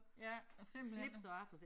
Ja og simpelthen nu